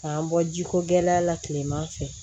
K'an bɔ ji ko gɛlɛya la kileman fɛ